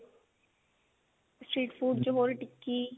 street food ਚ ਹੋਰ ਟਿੱਕੀ